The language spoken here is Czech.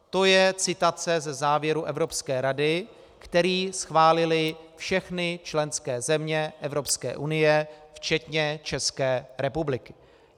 To je citace ze závěru Evropské rady, který schválily všechny členské země Evropské unie včetně České republiky.